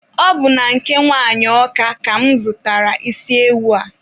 Ọ bụ na nke nwanyị Ọka ka mụ zụtara isi ewu a.